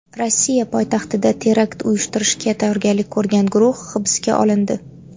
Rossiya poytaxtida terakt uyushtirishga tayyorgarlik ko‘rgan guruh hibsga olindi.